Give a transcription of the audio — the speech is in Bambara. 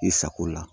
I sago la